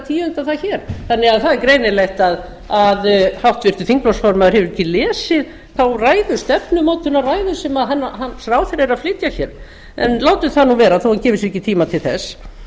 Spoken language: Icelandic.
tíunda það hér þannig að það er greinilegt að háttvirtur þingflokksformaður hefur ekki lesið þá ræðu stefnumótunarræðu sem hans ráðherrar eru að flytja hér en látum það nú vera þó hann gefi sér ekki tíma til þess